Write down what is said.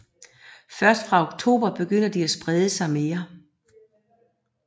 Først fra oktober begynder de at sprede sig mere